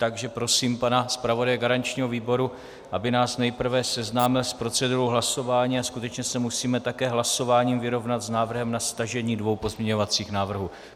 Takže prosím pana zpravodaje garančního výboru, aby nás nejprve seznámil s procedurou hlasování, a skutečně se musíme také hlasováním vyrovnat s návrhem na stažení dvou pozměňovacích návrhů.